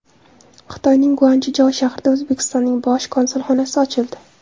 Xitoyning Guanchjou shahrida O‘zbekistonning bosh konsulxonasi ochildi.